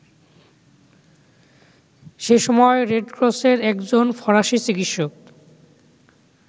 সেসময় রেডক্রসের একজন ফরাসি চিকিৎসক